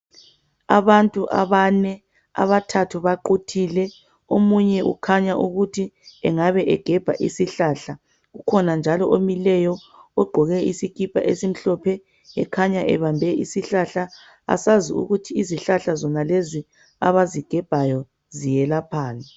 Abantu abane abathathu baquthileomunye ukhanya ukuthi engabe egebha isihlahla kukhona njalo omileyo ogqoke isikipa esimhlophe ekhanya ebambe isihlahla asazi ukuthi izihlahla zonalezi abazigebhayo ziyelaphani.